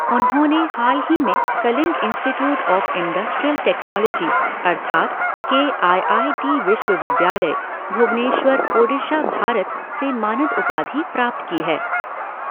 उन्होंने हाल ही में Kalinga institute of industrial technology अर्थात के आई आई टी विश्वविद्यालय, भुवनेश्वर, ओडिशा, भारत से मानद उपाधि प्राप्त की है।